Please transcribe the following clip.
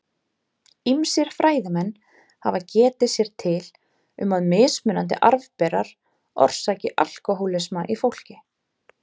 Ýmsir fræðimenn hafa getið sér til um að mismunandi arfberar orsaki alkóhólisma í fólki.